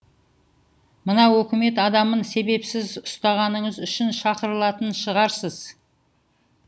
мына өкімет адамын себепсіз ұстағаныңыз үшін шақырылатын шығарсыз